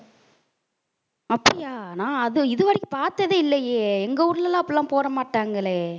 அப்படியா நான் அது இது வரைக்கும் பாத்ததே இல்லையே எங்க ஊர்ல எல்லாம் அப்படி எல்லாம் போட மாட்டாங்களே.